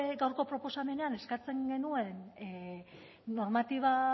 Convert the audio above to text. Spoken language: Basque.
gaurko proposamenean eskatzen genuen normatiba